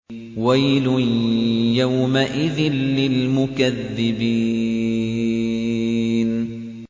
وَيْلٌ يَوْمَئِذٍ لِّلْمُكَذِّبِينَ